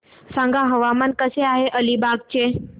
सांगा हवामान कसे आहे अलिबाग चे